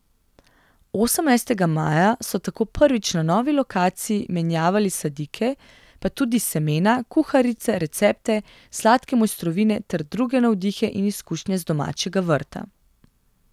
Osemnajstega maja so tako prvič na novi lokaciji menjevali sadike, pa tudi semena, kuharice, recepte, sladke mojstrovine ter druge navdihe in izkušnje z domačega vrta.